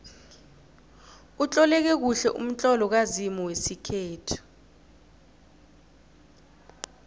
utloleke kuhle umtlolo kazimu wesikhethu